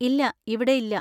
ഇല്ല, ഇവിടെയില്ല.